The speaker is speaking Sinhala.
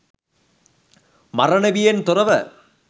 මරණ බියෙන් තොරව